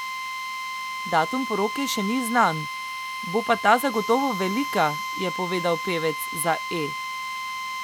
Datum poroke še ni znan, bo pa ta zagotovo velika, je povedal pevec za E!